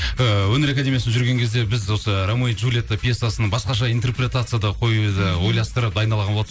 ыыы өнер академиясын жүрген кезде біз осы рамео джулиетта пьесасын басқаша интрепретацияда қоюды ойластырып дайындалған болатын